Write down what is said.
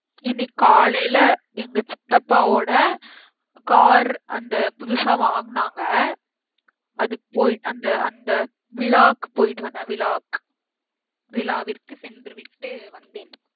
இன்னைக்கு காலைல எங்க சித்தப்பா ஓட car அந்த புதுசா வாங்குனாங்க அதுக்கு போயி அந்த அந்த விழாக்கு போயிட்டு வந்தேன் விழாக்கு விழாவிற்கு சென்று விட்டு வந்தேன்